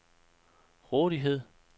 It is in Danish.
rådighed